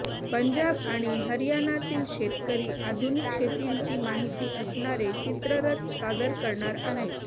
पंजाब आणि हरियानातील शेतकरी आधुनिक शेतींची माहिती असणारे चित्ररथ सादर करणार आहेत